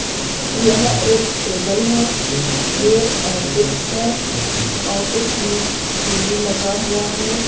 यह एक टेबल है ये ऑफिस है ऑफिस में टी_वी लगा हुआ है।